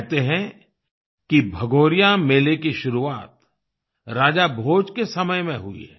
कहते हैं कि भगोरिया मेले की शुरूआत राजा भोज के समय में हुई है